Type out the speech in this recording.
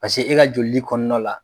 Paseke e ka jolidi kɔnɔnɔ la.